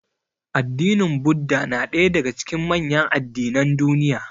Addinin Buddah na ɗaya daga cikin manyan addinan duniya.